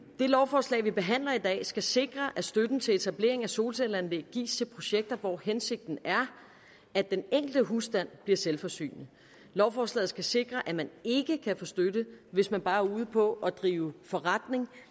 det lovforslag vi behandler i dag skal sikre at støtten til etablering af solcelleanlæg gives til projekter hvor hensigten er at den enkelte husstand bliver selvforsynende lovforslaget skal sikre at man ikke kan få støtte hvis man bare er ude på at drive en forretning